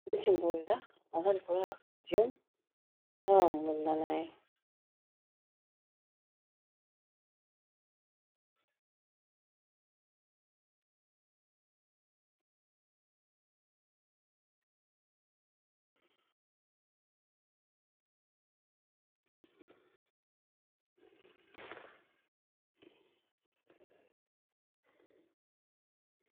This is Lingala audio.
Mobeti mbunda aza likolo ya podium na ba mbunda na ye.